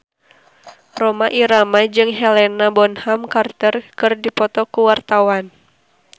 Rhoma Irama jeung Helena Bonham Carter keur dipoto ku wartawan